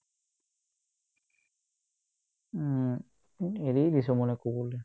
উম্, উম্, এৰিয়ে দিছো মই নকৰো বুলি